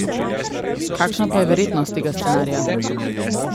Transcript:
Kakšna pa je verjetnost tega scenarija?